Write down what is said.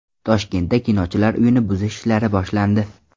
Toshkentda Kinochilar uyini buzish ishlari boshlandi.